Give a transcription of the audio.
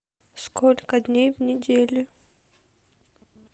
сколько дней в неделе